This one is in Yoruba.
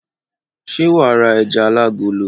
Ṣé wà á ra ẹja alágolo?